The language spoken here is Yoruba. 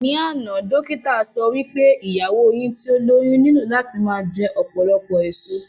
Ní àná, dókítà sọ wí pé ìyàwó yín tí ó lóyún nílò láti máa jẹ ọ̀pọ̀lọpọ̀ èso